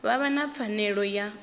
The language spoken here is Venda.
vha vha na pfanelo ya